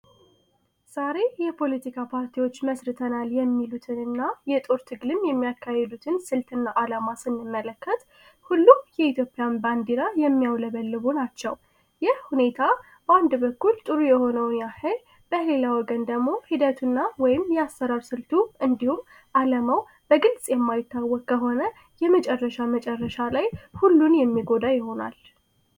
ዛሬ የፖለቲካ ፓርቲዎች መስርተናል የሚሉትንና የጦር ትግልም የሚያካሄዱትን ስልትና ዓላማ ስንመለከተ የኢትዮጵያ ባንዲራ የሚያው ልቡ ናቸው ይህ ሁኔታ በአንድ በኩል ጥሩ የሆነው ግን ደግሞ ሂደቱ ወይም ያሰራር ስልቱ እንዲሁም አለመው በግልጽ የማይታወቀ ሆነ የመጨረሻ መጨረሻ ላይ ሁሉን የሚጎዳ ይሆናል